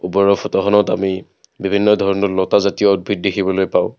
ওপৰৰ ফটোখনত আমি বিভিন্ন লতা জাতীয় উদ্ভিদ দেখিবলৈ পাওঁ।